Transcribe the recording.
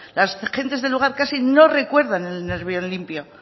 las gentes del lugar casi no recuerdan el nervión limpio